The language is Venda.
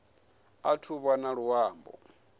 athu u vha na luambo